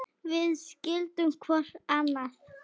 Við skildum hvor annan.